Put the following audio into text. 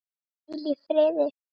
Og hvíl í friði.